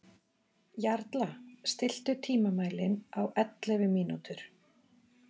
Jarla, stilltu tímamælinn á ellefu mínútur.